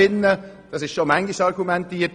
So wurde schon oft argumentiert.